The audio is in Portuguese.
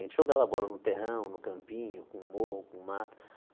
A gente jogava bola no terrão, no campinho, com morro, com mato.